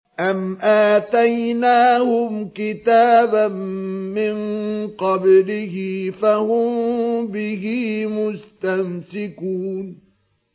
أَمْ آتَيْنَاهُمْ كِتَابًا مِّن قَبْلِهِ فَهُم بِهِ مُسْتَمْسِكُونَ